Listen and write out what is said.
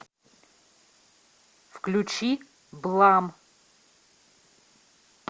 включи блам